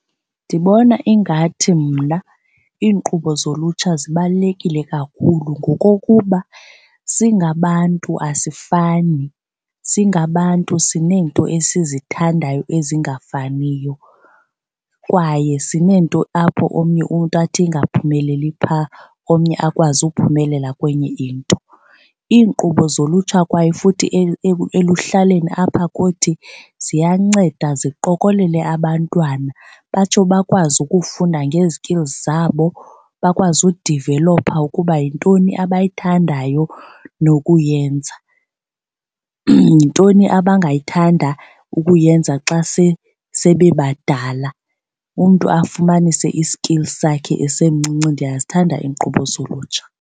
Ndibona ingathi mna iinkqubo zolutsha zibalulekile kakhulu ngokokuba singabantu asifani, singabantu sineento esizithandayo ezingafaniyo kwaye sineento apho omnye umntu athi engaphumeleli phaa omnye akwazi ukuphumelela kwenye into. Iinkqubo zolutsha kwaye futhi eluhlaleni apha kuthi ziyanceda ziqokelele abantwana batsho bakwazi ukufunda nge-skills zabo, bakwazi udivelopha ukuba yintoni abayithandayo nokuyenza, yintoni abangayithanda ukuyenza xa sebebadala, umntu afumanise i-skill sakhe esemncinci. Ndiyazithanda iinkqubo zolutsha.